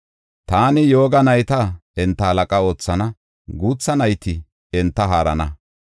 Taani yooga nayta enta halaqa oothana; guutha nayti enta haarana.